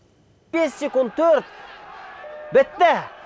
бес секунд төрт бітті